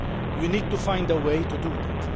We need to find a way to do this.